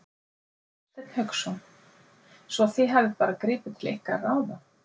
Hafsteinn Hauksson: Svo þið hafið bara gripið til ykkar ráða?